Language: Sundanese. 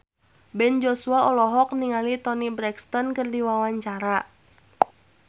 Ben Joshua olohok ningali Toni Brexton keur diwawancara